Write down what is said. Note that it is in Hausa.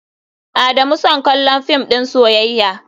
Adamu son kallon film din soyayya.